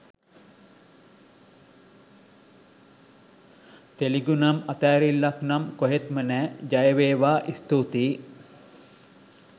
තෙලිඟුනම් අතෑරිල්ලක්නම් කොහෙත්ම නෑ! ජයවේවා! ස්තූතියි!